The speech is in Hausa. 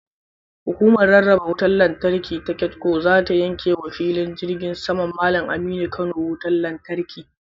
Hukumar rarraba wutar lantarki ta KEDCO zata yanke wa filin jirgin saman Mallam Aminu Kano wutar lantarki.